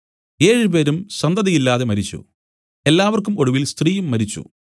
ഏഴ് പേരും സന്തതിയില്ലാതെ മരിച്ചു എല്ലാവർക്കും ഒടുവിൽ സ്ത്രീയും മരിച്ചു